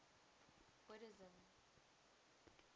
buddhism